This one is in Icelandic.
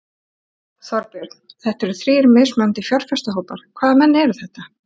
Þorbjörn: Þetta eru þrír mismunandi fjárfestahópar, hvaða menn eru þetta?